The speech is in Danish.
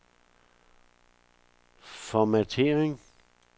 formattering